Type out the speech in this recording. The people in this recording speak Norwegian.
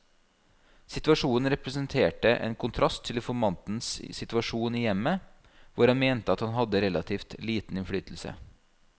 Situasjonen representerte en kontrast til informantens situasjon i hjemmet, hvor han mente at han hadde relativt liten innflytelse.